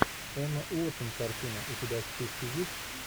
эмма уотсон картина у тебя в списке есть